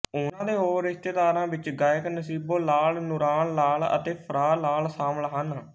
ਉਹਨਾਂ ਦੇ ਹੋਰ ਰਿਸ਼ਤੇਦਾਰਾਂ ਵਿੱਚ ਗਾਇਕ ਨਸੀਬੋ ਲਾਲ ਨੂਰਾਨ ਲਾਲ ਅਤੇ ਫ਼ਰਾਹ ਲਾਲ ਸ਼ਾਮਲ ਹਨ